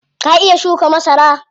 Ka iya shuka masara?